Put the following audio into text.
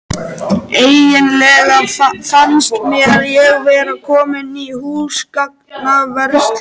Eiginlega fannst mér ég vera komin í húsgagnaverslun.